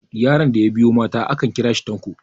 yaron da ya biyo mata akan kira shi tanko